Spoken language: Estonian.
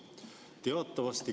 Teatavasti ...